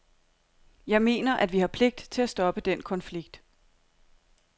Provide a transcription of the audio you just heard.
Jeg mener, at vi har pligt til at stoppe den konflikt.